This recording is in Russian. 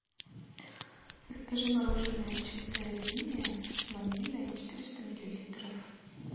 закажи мороженое чистая линия ванильное четыреста миллилитров